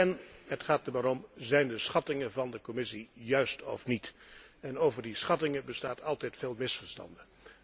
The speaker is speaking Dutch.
En het gaat erom zijn de schattingen van de Commissie juist of niet? Over die schattingen bestaan altijd veel misverstanden.